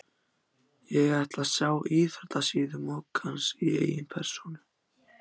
Ég ætla að sjá íþróttasíðu moggans í eigin persónu.